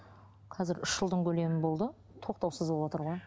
қазір үш жылдың көлемі болды тоқтаусыз болыватыр ғой